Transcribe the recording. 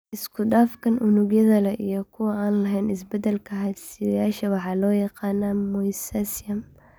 Isku dhafkan unugyada leh iyo kuwa aan lahayn isbeddelka hidde-sideyaasha waxaa loo yaqaannaa mosaicism.